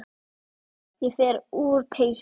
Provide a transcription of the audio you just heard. Ég fer úr peysunni.